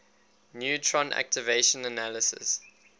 neutron activation analysis